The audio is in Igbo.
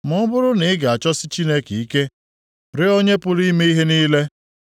Ma ọ bụrụ na i ga-achọsi Chineke ike, rịọ Onye pụrụ ime ihe niile,